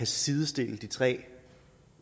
sidestille de tre